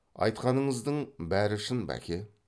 айтқаныңыздың бәрі шын бәке